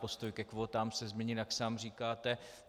Postoj ke kvótám se změnil, jak sám říkáte.